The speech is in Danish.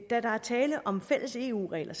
der er tale om fælles eu regler